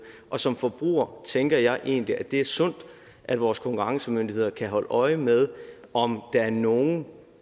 og som forbruger tænker jeg egentlig at det er sundt at vores konkurrencemyndigheder kan holde øje med om der er nogen